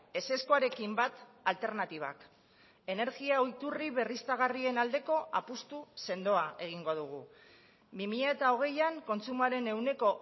ezezkoarekin bat alternatibak energia iturri berriztagarrien aldeko apustu sendoa egingo dugu bi mila hogeian kontsumoaren ehuneko